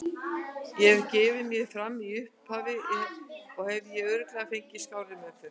Ef ég hefði gefið mig fram í upphafi hefði ég örugglega fengið skárri meðferð.